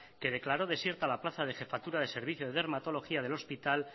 que declaró desierta la plaza de jefatura de servicios de dermatología del hospital